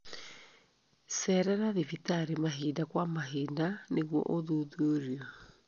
Cerera thibitarĩ mahinda kwa mahinda nĩguo ũthuthurio.